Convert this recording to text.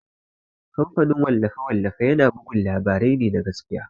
Kamfanin wallafe-wallafe tana bugun labarai ne na gaskiya.